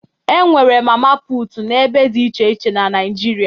E nwere mama puutu n'ebe dị iche iche na Naịjirịa